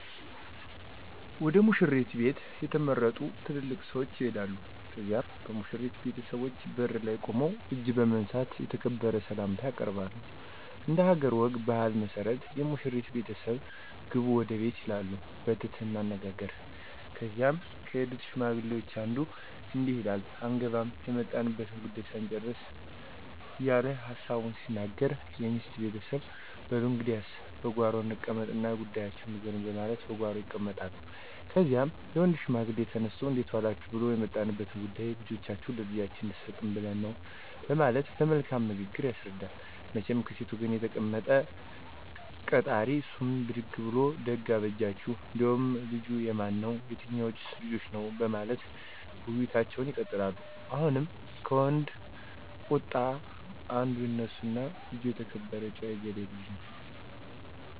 ወደ ሙሽሪት ቤት የተመረጡ ትልልቅ ሰዎች ይሄዳሉ ከዚያም በሙሽሪት ቤተሰቦች በር ላይ ቁመው እጅ በመንሳት የተከበረ ሰላምታ ያቀርባሉ። እንደሀገር ወግ ባህል መሠረት የሙሽሪት ቤተሰቦች ግቡ ወደ ቤት ይላሉ በትህትና አነጋገር ከዚያም ከሄዱት ሽማግሌዎች አንዱ እንዲህ ይላል አንገባም የመጣንበትን ጉዳዩ ሳንጭርስ እየለ ሀሳቡን ሲናገር የሚስት ቤተሰብ በሉ እንግዲያስ በጓሮ እንቀመጥ እና ጉዳያችሁን ንገሩኝ በማለት በጓሮ ይቀመጣሉ። ከዚያም የወንድ ሽማግሌ ተነስቶ እንዴት ዎላችሁ ብሉ የመጣንበት ጉዳይማ ልጃችሁን ለልጃችን እንድሰጡን ብለን ነው በማለት በመልካም ንግግር ያስረዳል። መቸም ከሴት ወገን የተቀመጠው ቀጣራ እሱም ብድግ ብሉ ደግ አበጃችሁ እንዴው ልጁ የማን ነው የትኞዎንስ ልጃችን ነው በማለት ውይይቶች ይቀጥላሉ። አሁንም ከወንድ ቀጣር አንዱ ይነሱና ልጅ የተከበረ ጭዎ የገሌ ልጅ ነው